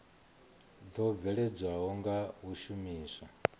dzo bveledzwaho nga u shumiswa